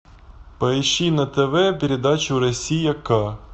поищи на тв передачу россия ка